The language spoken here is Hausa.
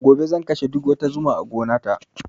Gobe zan kashe duk wani zuma a gona ta